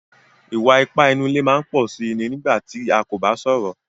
Ìwà-ìpà nínú ilé máa ń pọ̀ sí iní nígbà tí a kò bá sọ̀rọ̀.